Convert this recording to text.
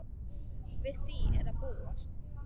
Við því er að búast.